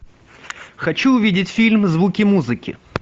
хочу увидеть фильм звуки музыки